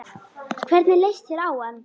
Hvernig leist þér á hann?